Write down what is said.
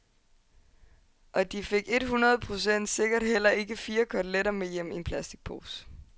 Og de fik et hundrede procent sikkert heller ikke fire koteletter med hjem i en plasticpose.